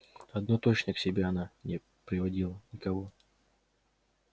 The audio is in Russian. одно точно к себе она не приводила никого